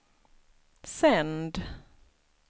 sänd